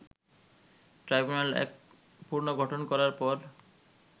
tribunal এক পুনর্গঠন করার পর